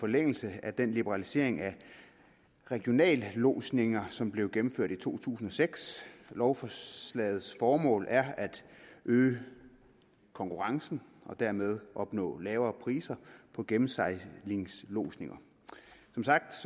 forlængelse af den liberalisering af regionallodsninger som blev gennemført i to tusind og seks lovforslagets formål er at øge konkurrencen og dermed at opnå lavere priser på gennemsejlingslodsninger som sagt